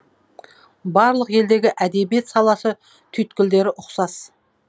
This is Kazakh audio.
барлық елдегі әдебиет саласы түйткілдері ұқсас